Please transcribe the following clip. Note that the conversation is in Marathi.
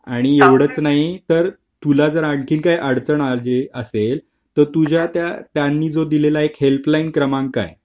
आणि एवढाच नाही तर तुला जर आणखी काही अडचण आली असेल तर तुझ्या त्या त्यांनी जो दिलेला एक हेल्पलाईन क्रमांक आहे